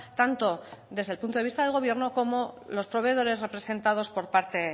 tanto desde el punto de vista del gobierno como los proveedores representados por parte